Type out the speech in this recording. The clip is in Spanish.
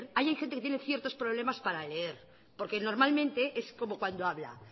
alguien tiene ciertos problemas para leer porque normalmente es como cuando habla